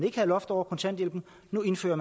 ikke var loft over kontanthjælpen nu indfører